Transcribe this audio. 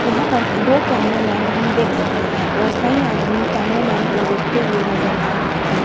यहां पर के दो कैमरे मैन हम देख सकते हैं और कई आदमी कैमरे मैन को देखते हुए नजर आ रहे हैं।